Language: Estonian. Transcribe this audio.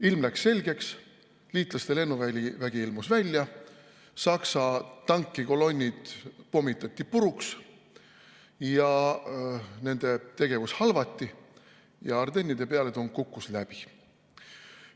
Ilm läks selgeks, liitlaste lennuvägi ilmus välja, Saksa tankikolonnid pommitati puruks, nende tegevus halvati ja pealetung Ardennides kukkus läbi.